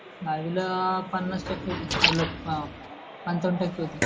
दहावीला पन्नास टक्के होते आपल्या पंचावण टक्के होते.